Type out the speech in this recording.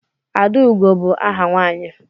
Adaugo bụ áhà nwanyi.